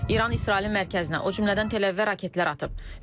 İran İsrailin mərkəzinə, o cümlədən Təl-Əvivə raketlər atıb.